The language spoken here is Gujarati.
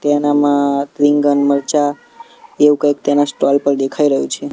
તેનામાં રીંગણ મરચા એવું કંઈક તેના સ્ટોલ પર દેખાઈ રહ્યું છે.